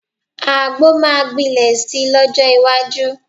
Àgbo máa gbilẹ̀ si lọ́jọ́ iwájú